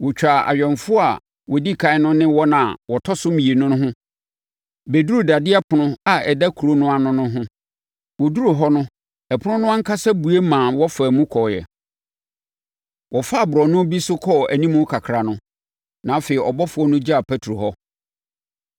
Wɔtwaa awɛmfoɔ a wɔdi ɛkan no ne wɔn a wɔtɔ so mmienu no ho bɛduruu dadeɛ ɛpono a ɛda kuro no ano no ho. Wɔduruu hɔ no ɛpono no ankasa bue maa wɔfaa mu kɔeɛ. Wɔfaa borɔno bi so kɔɔ animu kakra, na afei ɔbɔfoɔ no gyaa Petro hɔ.